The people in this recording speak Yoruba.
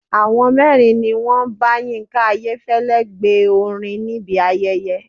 Àwọn mẹ́rin ni wọ́n bá Yínká Ayéfẹ́lẹ́ gbe orin níbi ayẹyẹ.